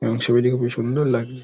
এবং ছবিটিকে খুবই সুন্দর লাগছে ।